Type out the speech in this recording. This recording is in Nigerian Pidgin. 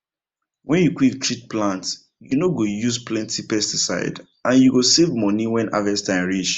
when you quick treat plant you no go use plenty pesticide and you go save money when harvest time reach